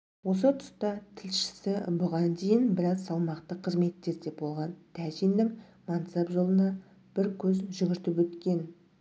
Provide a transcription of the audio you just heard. осы тұста тілшісі бұған дейін біраз салмақты қызметтерде болған тәжиннің мансап жолына бір көз жүгіртіп өткен